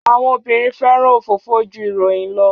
Àwọn obìnrin fẹ́ràn ofofo jú ìròyìn lo